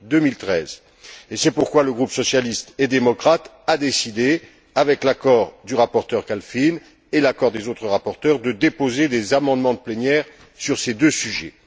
2013. C'est pourquoi le groupe socialiste et démocrate a décidé, avec l'accord du rapporteur Kalfin et l'accord des autres rapporteurs, de déposer des amendements de plénière sur ces deux sujets.